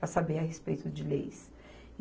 para saber a respeito de leis.